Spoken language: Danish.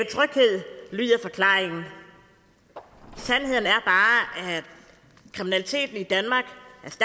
tryghed lyder forklaringen sandheden at kriminaliteten i dalende